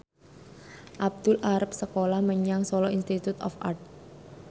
Abdul arep sekolah menyang Solo Institute of Art